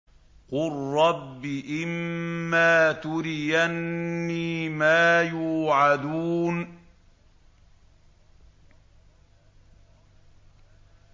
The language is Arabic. قُل رَّبِّ إِمَّا تُرِيَنِّي مَا يُوعَدُونَ